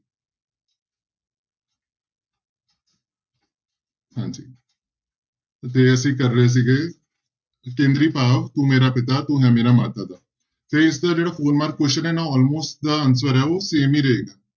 ਹਾਂਜੀ ਤੇ ਅਸੀਂ ਕਰ ਰਹੇ ਸੀਗੇ, ਕੇਂਦਰੀ ਭਾਵ ਤੂੰ ਮੇਰਾ ਪਿਤਾ ਤੂੰ ਹੈ ਮੇਰਾ ਮਾਤਾ ਦਾ, ਤੇ ਇਸਦਾ ਜਿਹੜਾ four mark question ਹੈ ਨਾ almost ਦਾ answer ਹੈ ਉਹ same ਹੀ ਰਹੇ।